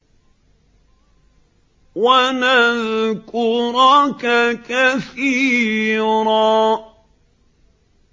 وَنَذْكُرَكَ كَثِيرًا